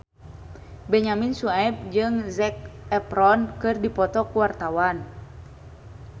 Benyamin Sueb jeung Zac Efron keur dipoto ku wartawan